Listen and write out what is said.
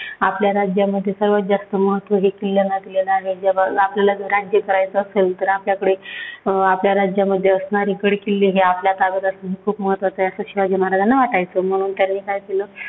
आपल्या राज्यामध्ये सर्वांत जास्त महत्व हे किल्ल्यांना दिलेले आहे. जगात आपल्याला राज्य करायचं असेल, तर आपल्याकडे आपल्या राज्यामध्ये असलेले गडकिल्ले हे आपल्या ताब्यात असणे हे खूप गरजेचे आहे. असं शिवाजी महाराजांना वाटायचं म्हणून त्यांनी काय केल?